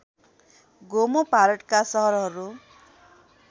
गोमो भारतका सहरहरू